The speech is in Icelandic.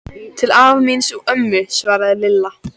Til afa míns og ömmu svaraði Lilla.